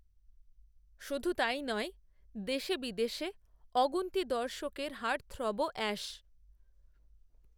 শুধু তাই নয় দেশে বিদেশে, অগুন্তি দর্শকের, হার্টথ্রবও, অ্যাশ